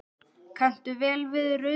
Kanntu vel við rauðvín?